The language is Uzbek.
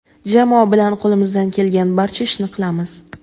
Jamoa bilan qo‘limizdan kelgan barcha ishni qilamiz.